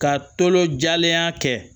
Ka tolon jalenya kɛ